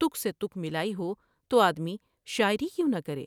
تک سے تک ملائی ہوتو آدمی شاعری کیوں نہ کرے ۔